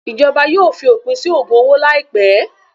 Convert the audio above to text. Ìjọba yóò fi òpin sí ògùn owó láìpẹ́.